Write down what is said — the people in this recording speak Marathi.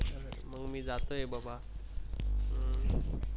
मग मी जातो आहे बाबा. हम्म